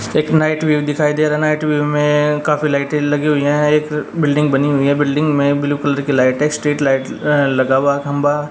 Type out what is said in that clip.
एक night view दिखाई दे रहा नाइट व्यू में काफी लाइटे लगी हुई है एक बिल्डिंग बनी हुई है बिल्डिंग में ब्लू कलर की लाइट है स्ट्रीट लाइट अ लगा हुआ खंभा --